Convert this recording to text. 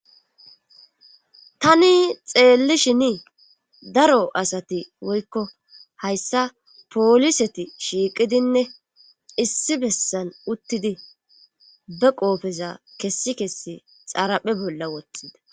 tani xeellishini daro asati woykko hayssa pooliseti shiiqidinne issi bessan uttidi be qoofeza kessi kessi xaraphe bolla wothida